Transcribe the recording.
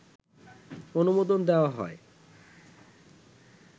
অনুমোদন দেয়া হয়